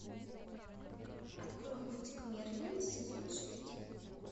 открой мультик мерлин сезон шесть